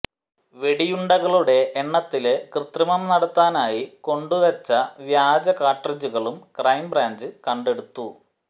വെടിയുണ്ടകളുടെ എണ്ണത്തില് കൃത്രിമം നടത്താനായി കൊണ്ടുവെച്ച വ്യാജ കാട്രിഡ്ജുകളും ക്രൈംബ്രാഞ്ച് കണ്ടെടുത്തു